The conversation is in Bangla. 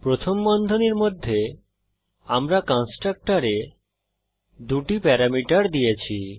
প্রথম বন্ধনীর মধ্যে আমরা কন্সট্রকটরে দুটি প্যারামিটার দিয়েছি